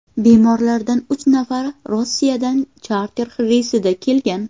Bemorlardan uch nafari Rossiyadan charter reysda kelgan.